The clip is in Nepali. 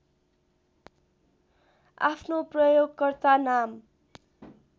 आफ्नो प्रयोगकर्ता नाम